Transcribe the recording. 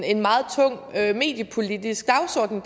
en meget tung mediepolitisk dagsorden